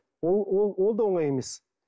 ол да оңай емес